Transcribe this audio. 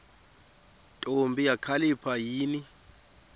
ntombi kakhalipha yini